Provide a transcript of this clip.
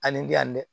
Ani bi yan dɛ